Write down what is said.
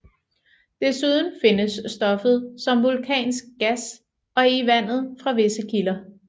Desuden findes stoffet som vulkansk gas og i vandet fra visse kilder